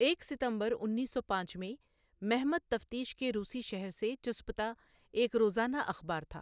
ایک ستمبر انیس سو پانچ میں مہمت تفتیش کے روسی شہر سے چصپتا ایک روزانہ اخبار تھا۔ ۔